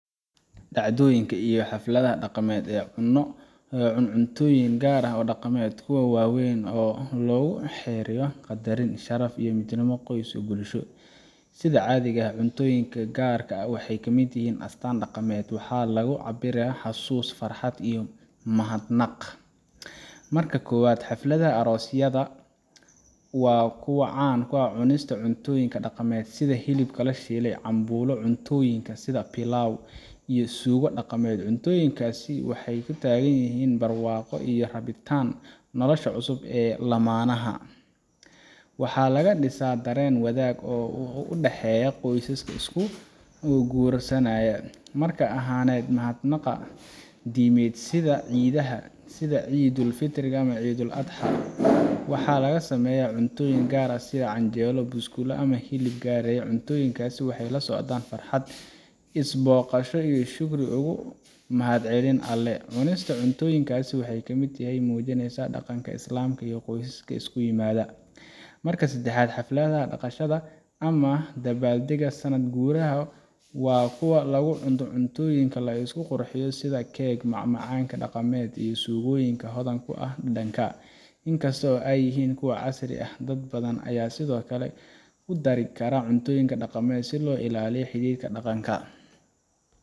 Dhacdooyinka iyo xafladaha dhaqameed ee cunto iyo cuntooyin gaar ah leh waa kuwa waaweyn oo lagu xusayo qadarin, sharaf, iyo midnimo qoys iyo bulsho. Sida caadiga ah, cuntooyinka gaarka ah waxay ka mid yihiin astaamaha dhaqameed, waxayna lagu cabbiraa xasuus farxadeed iyo mahadnaq. Marka koowaad, xafladaha aroosyada waa kuwa caan ku ah cunista cuntooyinka dhaqameed sida hilibka la shiilay, cambulo, pilau, iyo suugo dhaqameed. Cuntooyinkaas waxay u taagan yihiin barwaaqo iyo rajeyn nolosha cusub ee lammaanaha. Waxa kale oo laga dhisaa dareen wadaag ah oo u dhexeeya qoysaska is guursanayo. Marka labaad, mahadnaqa sida diimaha ah sida Eidul Adha, waxaa laga sameeyaa cuntooyin gaar ah sida canjeero, buskud, ama hilib. Cuntooyinkaas waxay la socdaan farxad, is booqasho, iyo shukri mahadcelin Alle. Cunista cuntooyinkaas waxay ka mid yihiin waxyaabaha muujinaya dhaqanka Islaamka iyo is imaatinka qoysaska. Marka saddexaad, xafladaha dhaqameed ama dabaaldegyada sannadka guriga waa kuwa lagu cuno cuntooyin la isku qurxiyo sida cake, macmacaan dhaqameed, iyo suugooyin hodan ku ah dhadhanka. Inkasta oo ay yihiin kuwo casri ah, dad badan ayaa sidoo kale ku dara cuntooyin dhaqameed si loo ilaaliyo dhaqanka.